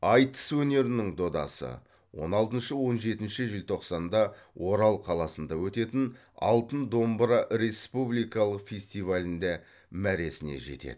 айтыс өнерінің додасы он алтыншы он жетінші желтоқсанда орал қаласында өтетін алтын домбыра республикалық фестивалінде мәресіне жетеді